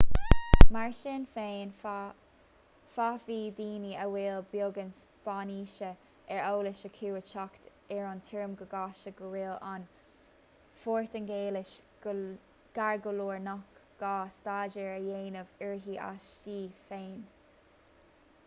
mar sin féin féadfaidh daoine a bhfuil beagán spáinnise ar eolas acu a theacht ar an tuairim go gasta go bhfuil an phortaingéilis gar go leor nach gá staidéar a dhéanamh uirthi aisti féin